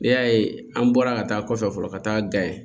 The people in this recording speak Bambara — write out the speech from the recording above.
N'i y'a ye an bɔra ka taa kɔfɛ fɔlɔ ka taa ga ye